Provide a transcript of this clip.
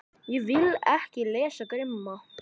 Ég vil ekki lesa krimma.